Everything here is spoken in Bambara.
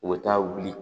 U bɛ taa wuli